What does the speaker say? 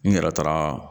N yɛrɛ taara